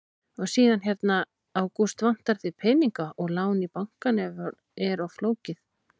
Og síðan hérna: Ágúst, vantar þig peninga og lán í bankanum er of flókið?